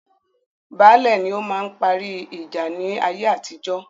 Baálẹ̀ ni ọ máa parí ìjà ní ayé atijọ́